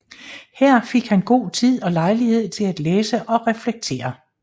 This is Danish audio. Her fik han god tid og lejlighed til at læse og reflektere